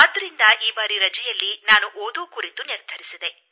ಆದ್ದರಿಂದ ಈ ಬಾರಿ ರಜೆಯಲ್ಲಿ ನಾನು ಓದಲು ನಿರ್ಧರಿಸಿದೆ